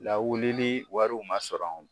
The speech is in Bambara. Lawulili wariw ma sɔrɔ